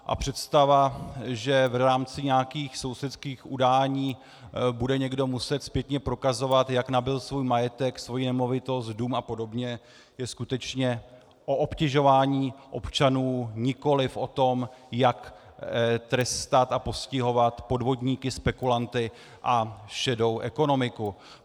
A představa, že v rámci nějakých sousedských udání bude někdo muset zpětně prokazovat, jak nabyl svůj majetek, svoji nemovitost, dům a podobně, je skutečně o obtěžování občanů, nikoliv o tom, jak trestat a postihovat podvodníky, spekulanty a šedou ekonomiku.